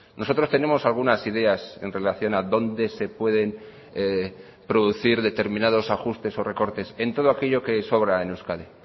nosotros tenemos algunas ideas en relación a dónde se pueden producir determinados ajustes o recortes en todo aquello que sobra en euskadi